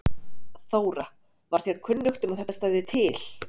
Þóra: Var þér kunnugt um að þetta stæði til?